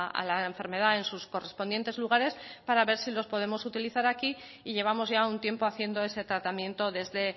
a la enfermedad en sus correspondientes lugares para ver si los podemos utilizar aquí y llevamos ya un tiempo haciendo ese tratamiento desde